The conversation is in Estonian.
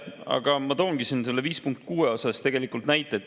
Aga ma toongi siin punkt 5.6 kohta näited.